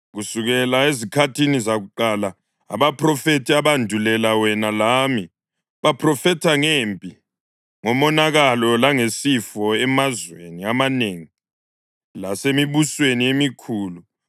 Kusukela ezikhathini zakuqala abaphrofethi abandulela wena lami baphrofetha ngempi, ngomonakalo langesifo emazweni amanengi lasemibusweni emikhulu.